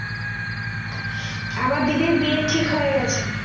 আমার দিদির বিয়ে ঠিক হয়ে গেছে